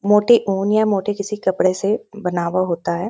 मोटे ऊन या मोटे किसी कपड़े से बनवा होता है।